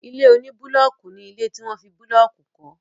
Ilé oní búlọọkù ní ilé tí wọ́n fi búlọọkù kọ